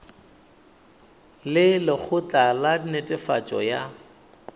le lekgotla la netefatšo ya